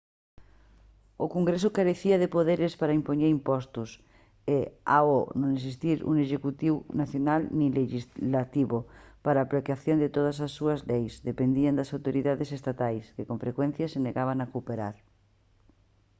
o congreso carecía de poderes para impoñer impostos e ao non existir un executivo nacional nin lexislativo para a aplicación de todas as súas leis dependía das autoridades estatais que con frecuencia se negaban a cooperar